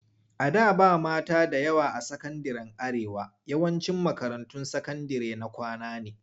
A da ba mata da yawa a sakandiren Arewa. yawancin makarantun sakandire na kwana ne.